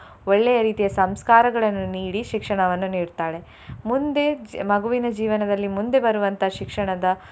ಒಳ್ಳೆಯ ರೀತಿಯ ಸಂಸ್ಕಾರಗಳನ್ನು ನೀಡಿ ಶಿಕ್ಷಣವನ್ನು ನೀಡ್ತಾಳೆ. ಮುಂದೆ ಮಗುವಿನ ಜೀವನದಲ್ಲಿ ಮುಂದೆ ಬರುವಂತಹ ಶಿಕ್ಷಣದ.